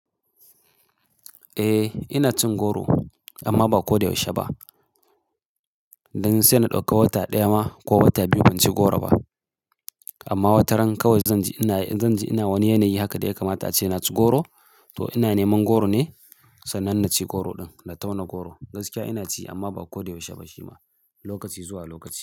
Eh ina cin goro amma ba ko da yaushe ba. Dan sai na dauka wata daya ma ko wata biyu ban ci goro ba. Amma wataran kawai zan ji ina, zan ji ina wani yanayi haka da ya kamata ace na ci goro to ina neman goro ne. Sannan na ci goro din, na tauna goro. Gaskiya ina ci amma ba ko da yaushe ba shi ma, lokaci zuwa lokaci.